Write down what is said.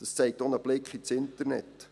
Das zeigt auch ein Blick ins Internet.